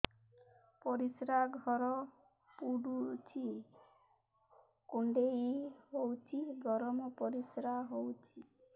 ପରିସ୍ରା ଘର ପୁଡୁଚି କୁଣ୍ଡେଇ ହଉଚି ଗରମ ପରିସ୍ରା ହଉଚି